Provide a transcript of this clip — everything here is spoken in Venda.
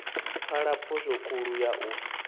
pfala phosho khulu ya u